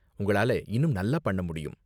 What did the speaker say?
உங்களால இன்னும் நல்லா பண்ண முடியும்.